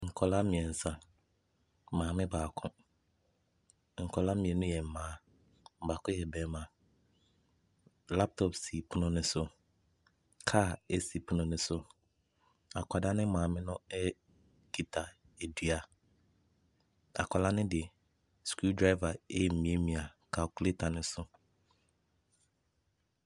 Nkwadaa mmeɛnsa, maame baako. Nkwadaa mmienu yɛ mmaa, baako yɛ barima. Laptop si pono no so. Kaa si pono no so. Akwadaa no maame no kita dua. Akwadaa no de screw driver remiamia calculator no so.